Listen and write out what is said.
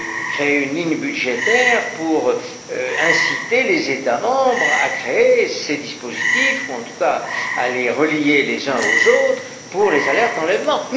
créé une ligne budgétaire pour inciter les États membres à créer ces dispositifs, ou en tout cas à les relier les uns aux autres pour les alertes enlèvement.